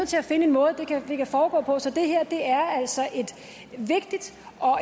til at finde en måde det kan foregå på så det her er altså et vigtigt